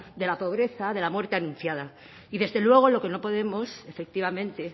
de la pobreza de la muerte anunciada y desde luego lo que no podemos efectivamente